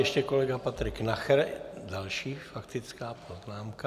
Ještě kolega Patrik Nacher, další faktická poznámka.